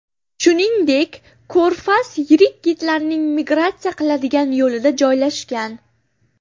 Shuningdek, ko‘rfaz yirik kitlarning migratsiya qiladigan yo‘lida joylashgan.